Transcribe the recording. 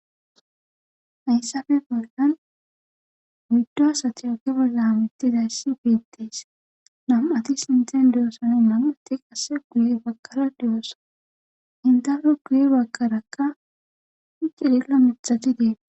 hayssafe bollan wuddo satiyoki bolla mittida yssi biittees nam7ati sinten diyoosane mamuti qasse guye bakara diyoosa indare guye bakarakka iceliqla mithati deete